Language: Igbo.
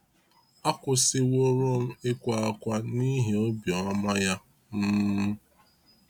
akwụsị wurọm ịkwa ákwá n’ihi obiọma ya. um